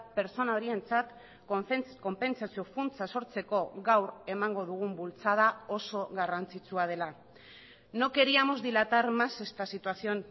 pertsona horientzat konpentsazio funtsa sortzeko gaur emango dugun bultzada oso garrantzitsua dela no queríamos dilatar más esta situación